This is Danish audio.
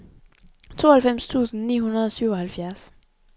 tooghalvfems tusind ni hundrede og syvoghalvfjerds